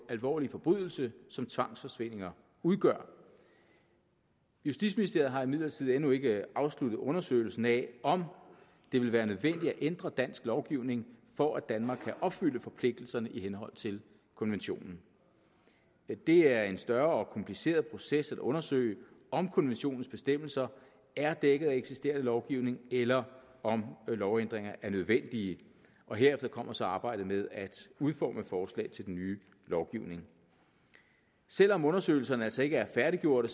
alvorlige forbrydelse som tvangsforsvindinger udgør justitsministeriet har imidlertid endnu ikke afsluttet undersøgelsen af om det vil være nødvendigt at ændre dansk lovgivning for at danmark kan opfylde forpligtelserne i henhold til konventionen det er en større og kompliceret proces at undersøge om konventionens bestemmelser er dækket af eksisterende lovgivning eller om lovændringer er nødvendige hertil kommer så arbejdet med at udforme forslag til den nye lovgivning selv om undersøgelserne altså ikke er færdiggjorte